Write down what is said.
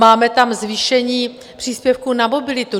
Máme tam zvýšení příspěvku na mobilitu.